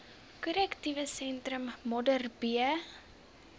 korrektiewe sentrum modderbee